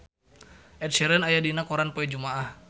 Ed Sheeran aya dina koran poe Jumaah